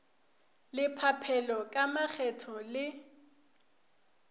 la phaphelo ka makgetho le